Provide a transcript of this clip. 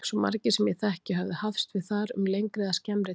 Svo margir sem ég þekkti höfðu hafst við þar um lengri eða skemmri tíma.